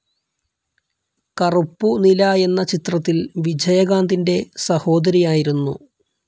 കറുപ്പു നിലാ എന്ന ചിത്രത്തിൽ വിജയകാന്തിന്റെ സഹോദരിയായിരുന്നു.